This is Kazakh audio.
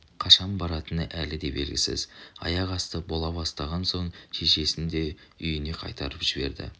қашан баратыны әлі де белгісіз аяқ-асты бола бастаған соң шешесін де үйіне қайтарып жіберді